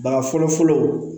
Baga fɔlɔ fɔlɔ